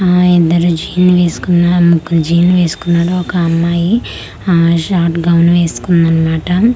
ఆ ఇద్దరు జీన్ వేసుకున్నాం ఆ ముగ్గురు జీన్ ఏస్కున్నాడు ఒక అమ్మాయి ఆ షార్ట్ గౌను ఏస్కుందన్మాట.